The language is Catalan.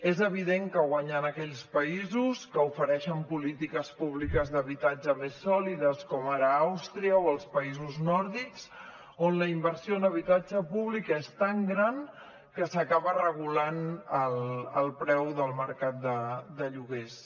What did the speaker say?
és evident que guanyen aquells països que ofereixen polítiques públiques d’habitatge més sòlides com ara àustria o els països nòrdics on la inversió en habitatge públic és tan gran que s’acaba regulant el preu del mercat de lloguers